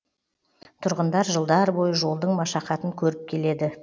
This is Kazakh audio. тұрғындар жылдар бойы жолдың машақатын көріп келеді